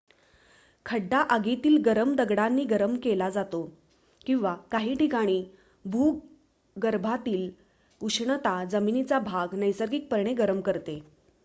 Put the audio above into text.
खड्डा आगीतील गरम दगडांनी गरम केला जातो किंवा काही ठिकाणी भूगर्भातील उष्णता जमिनीचा भाग नैसर्गिकपणे गरम करते